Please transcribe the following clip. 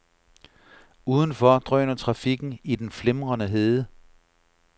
Udenfor drøner trafikken i den flimrende hede.